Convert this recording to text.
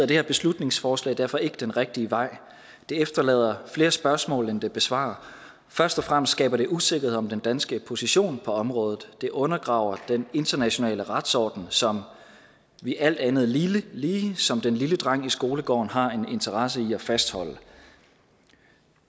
det her beslutningsforslag derfor ikke den rigtige vej det efterlader flere spørgsmål end det besvarer først og fremmest skaber det usikkerhed om den danske position på området det undergraver den internationale retsorden som vi alt andet lige som den lille dreng i skolegården har en interesse i at fastholde